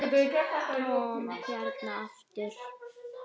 Tom hérna aftur.